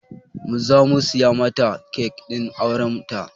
Mu zamu siya mata kek ɗin auren ta